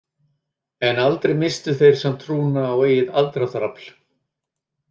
En aldrei misstu þeir samt trúna á eigið aðdráttarafl.